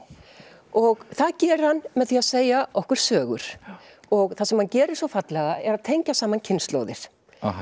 og það gerir hann með því að segja okkur sögur og það sem hann gerir svo fallega er að tengja saman kynslóðir